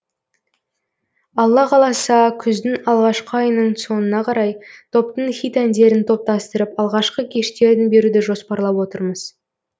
алла қаласа күздің алғашқы айының соңына қарай топтың хит әндерін топтастырып алғашқы кештерін беруді жоспарлап отырмыз